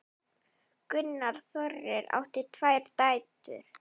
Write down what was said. Gunnar Þórir átti tvær dætur.